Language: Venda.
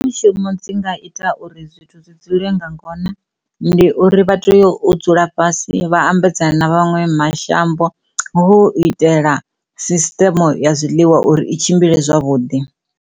Dzi nga ita uri zwithu zwi dzule nga ngona ndi uri vha tea u dzula fhasi vha ambedzana na vha maṅwe mashango hu u itela sisitemu ya zwiḽiwa uri i tshimbile zwavhuḓi.